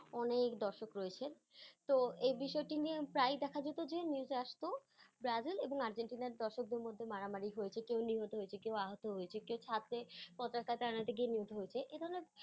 অনেক দর্শক রয়েছে, তো এই বিষয়টি নিয়ে প্রায় দেখা যেতো যে, news -এ আসতো, ব্রাজিল এবং আর্জেন্টিনার দর্শকদের মধ্যে মারামারি হয়েছে কেউ নিহত হয়েছে কেউ আহত হয়েছে কেউ ছাঁদে পতাকা টাঙ্গাতে গিয়ে নিহত হয়েছে এ ধরণের